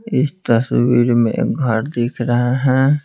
इस तस्वीर में घर दिख रहा है।